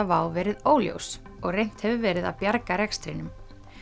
WOW verið óljós og reynt hefur verið að bjarga rekstrinum